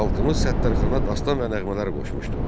Xalqımız Səttarxana dastan və nəğmələr qoşmuşdu.